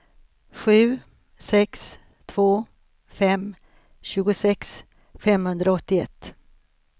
sju sex två fem tjugosex femhundraåttioett